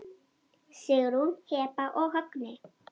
Sigrún, Heba og Högni.